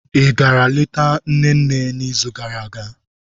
Ị gara leta nne nne n'izu gara aga?